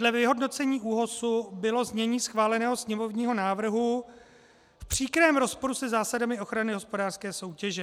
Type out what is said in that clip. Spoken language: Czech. Dle vyhodnocení ÚOHSu bylo znění schváleného sněmovního návrhu v příkrém rozporu se zásadami ochrany hospodářské soutěže.